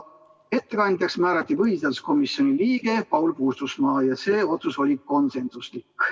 Ettekandjaks määrati põhiseaduskomisjoni liige Paul Puustusmaa ja see otsus oli konsensuslik.